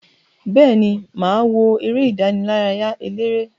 Beeni, maa wo ere idaraya elere.